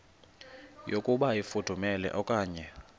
yokuba ifudumele okanye